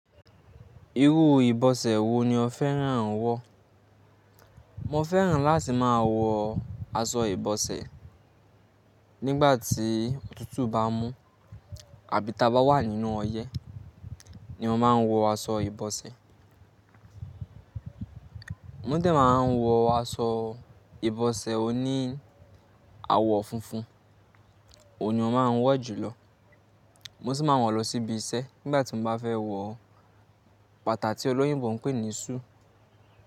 Irú ìbọsẹ̀ wo ni o fẹ́ràn wọ̀? Mo fẹ́ràn láti máa wọ aṣọ ìbọsẹ̀ nígbà tí òtútù bá mú àbí tá bá wà nínú ọyẹ́ ni màá wọ aṣọ ìbọsẹ̀. Mo dẹ̀ máa n wọ aṣọ ìbọsẹ̀ oní àwọ̀ funfun, òun ni mo máa ń wọ̀ jùlọ. Mo sì máa ń wọ̀ lọ síbi iṣẹ́ nígbà tí mo bá fẹ́ wọ bàtà tí olóyúnbọ̀ ń pè ní shoe.